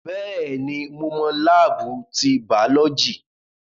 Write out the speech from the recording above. Bẹ́ẹ̀ni, mo mọ láábù ti bàọ́lọ́jì